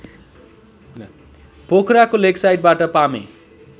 पोखराको लेकसाइडबाट पामे